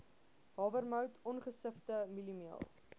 hawermout ongesifde mieliemeel